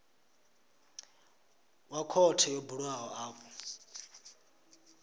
wa khothe yo bulwaho afho